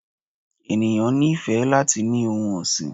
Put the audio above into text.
eníyan ní ifé latí ni ohún ọsín